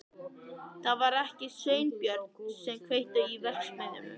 Það var ekki Sveinbjörn sem kveikti í verksmiðjunni.